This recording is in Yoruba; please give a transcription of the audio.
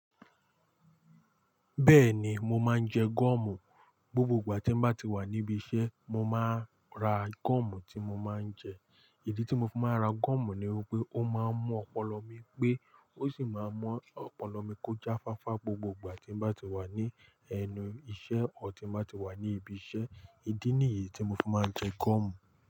Bẹ́ẹ̀ni, mo máa ń jẹ goọ̀mù. Gbogbo ìgbà tí m bá ti wà níbi iṣẹ́, mo máa ra goọ̀mù tí mo máa ń jẹ. Ìdí tí mo fi máa ń ra goọ̀mù ni wípé ó máa ń mú ọpọlọ mi pé, ó sì máa ń mú ọpọlọ mi kọjá fáfá gbogbo ìgbà tí m bá ti wà ní ẹnu iṣẹ́, ò tí m bá tí wà ní ibi iṣẹ́. Ìdí nìyí tí mo fi máa ń jẹ goọ̀mù.